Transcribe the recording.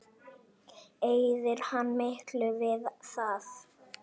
Eyðir hann miklu við það?